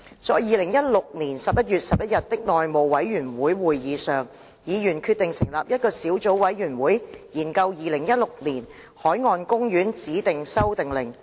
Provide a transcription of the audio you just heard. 在2016年11月11日的內務委員會會議上，議員決定成立一個小組委員會，研究《2016年海岸公園令》。